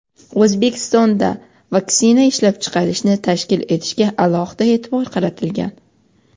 O‘zbekistonda vaksina ishlab chiqarishni tashkil etishga alohida e’tibor qaratilgan.